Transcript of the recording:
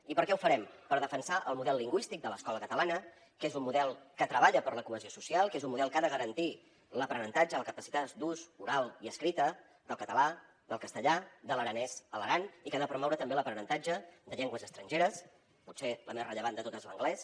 i per què ho farem per defensar el model lingüístic de l’escola catalana que és un model que treballa per la cohesió social que és un model que ha de garantir l’aprenentatge la capacitat d’ús oral i escrita del català del castellà de l’aranès a l’aran i que ha de promoure també l’aprenentatge de llengües estrangeres potser la més rellevant de totes l’anglès